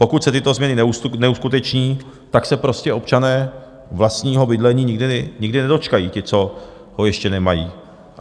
Pokud se tyto změny neuskuteční, tak se prostě občané vlastního bydlení nikdy nedočkají, ti, co ho ještě nemají.